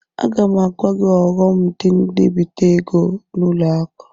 Aga m agwa gị ọghọm dị n'ibite ego n'ụlọ akụ.